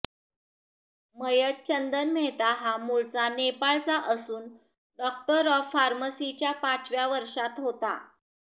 मयत चंदन मेहता हा मूळचा नेपाळचा असून डॉक्टर ऑफ फॉर्मसीच्या पाचव्या वर्षात होता